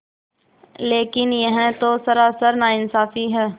लेकिन यह तो सरासर नाइंसाफ़ी है